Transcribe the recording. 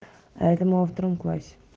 а это мы во втором классе